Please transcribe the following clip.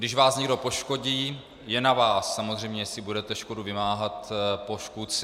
Když vás někdo poškodí, je na vás samozřejmě, jestli budete škodu vymáhat po škůdci.